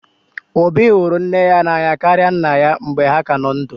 Obi hụrụ nne ya n'anya karịa nna ya mgbe ha ka nọ ndụ